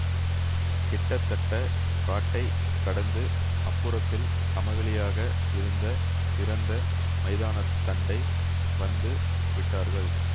கிட்டத்தட்டக் காட்டைக் கடந்து அப்புறத்தில் சமவெளியாக இருந்த திறந்த மைதானத்தண்டை வந்து விட்டார்கள்